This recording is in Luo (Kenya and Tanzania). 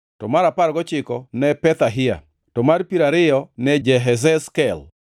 mar apar gochiko ne Pethahia, to mar piero ariyo ne Jehezkel,